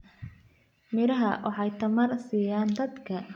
Miraha waxay tamar siiyaan dadka.